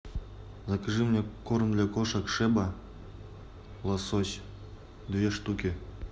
закажи мне корм для кошек шеба лосось две штуки